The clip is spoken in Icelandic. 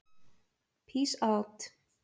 Pís át.